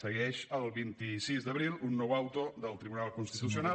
segueix el vint sis d’abril un nou auto del tribunal constitucional